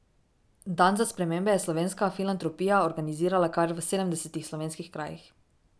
Dan za spremembe je Slovenska filantropija organizirala kar v sedemdesetih slovenskih krajih.